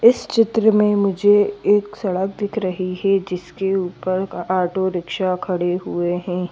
इस चित्र में मुझे एक सड़क दिख रही है जिसके ऊपर ऑटो रिक्शा खड़े हुए हैं।